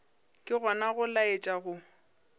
ke gona go laetša go